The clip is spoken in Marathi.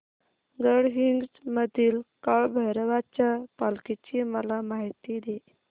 गडहिंग्लज मधील काळभैरवाच्या पालखीची मला माहिती दे